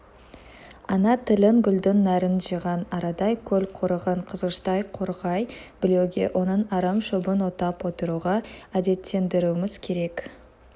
ана тілін гүлдің нәрін жиған арадай көл қорыған қызғыштай қорғай білуге оның арам шөбін отап отыруға әдеттендіруіміз керек